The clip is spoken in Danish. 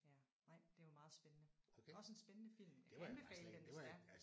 Ja nej det var meget spændende. Også en spændende film jeg vil anbefale den hvis det er